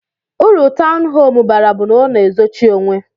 Uru tọwnu hóme bara bu na ọna ezochi onwe.